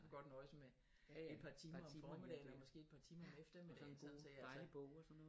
Kunne godt nøjes med et par timer om formidaggen og måske et par timer om eftermiddagen sådan så jeg